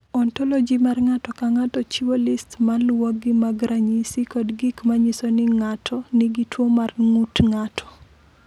"Ontoloji mar ng’ato ka ng’ato chiwo list ma luwogi mag ranyisi kod gik ma nyiso ni ng’ato nigi tuwo mar ng’ut ng’ato."